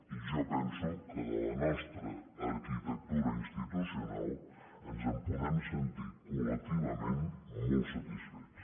i jo penso que de la nostra arquitectura institucional ens en podem sentir col·lectivament molt satisfets